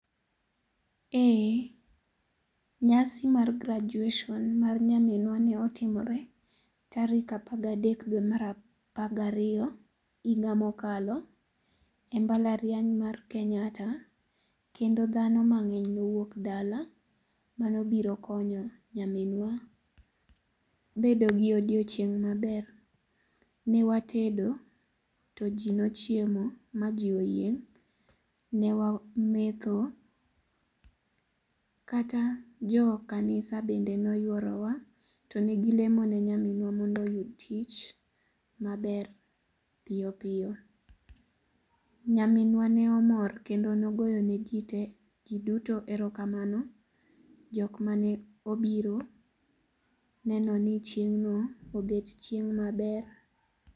ee, nyasi mar graduation mar nyaminwa ne otimore tarik apar ga dek dwe mar apar gariyo higa mokalo embalariany mar kenyatta kendo dhano mangeny nowuok dala manobiro konyo nyaminwa bedo gi odiochieng maber, newatedo ,to ji nochiemo maji oyieng, ne wametho, kata jo kanisa bende noyworowa to negi lemo ne nyaminwa mondo oyud tich maber piyopiyo. nyaminwa ne omor kendo neogoyo ne ji tee giduto erokamano , jokmane obiro neno ni chiengno obet chieng maber